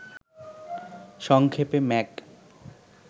সংক্ষেপে ম্যাক